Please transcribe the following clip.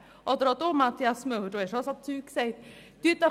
Oder auch Sie, Mathias Müller, Sie haben auch solches Zeug gesagt.